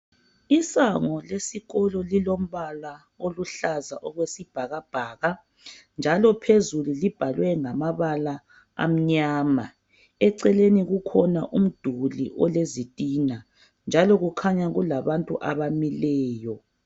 Isango lesikolo lilombala oluhlaza okwesibhakabhaka, njalo phezulu libhalwe ngamabala mnyama . Eceleni kukhona umduli olezitina , njalo kukhanya kulabantu abamileyo.